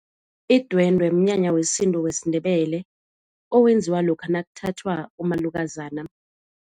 Idwendwe mnyanya wesintu wesiNdebele owenziwa lokha nakuthathwa umalukazana.